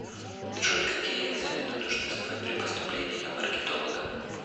джой какие экзамены нужно сдавать при поступлении на маркетолога